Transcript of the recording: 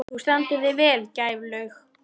Þú stendur þig vel, Gæflaug!